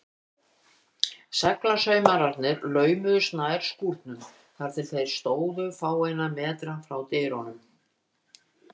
Seglamennirnir laumuðust nær skúrnum, þar til þeir stóðu fáeina metra frá dyrunum.